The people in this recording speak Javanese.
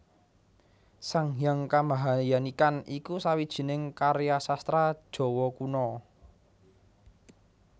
Sang Hyang Kamahayanikan iku sawijining karya sastra Jawa Kuna